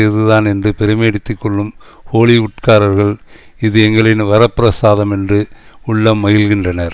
இதுதான் என்று பெருமையடித்துக்கொள்ளும் கோலிவுட் காரர்கள் இது எங்களின் வரப்பிரசாதம் என்று உள்ளம் மகிழ்கின்றனர்